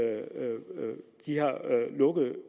er